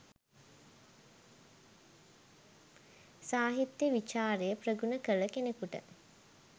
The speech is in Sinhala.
සාහිත්‍ය විචාරය ප්‍රගුණ කළ කෙනෙකුට